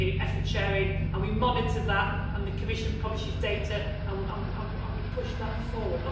We have the effort sharing and we monitor that, and the Commission publishes data and we push that forward.